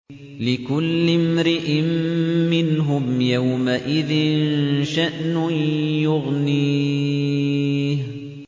لِكُلِّ امْرِئٍ مِّنْهُمْ يَوْمَئِذٍ شَأْنٌ يُغْنِيهِ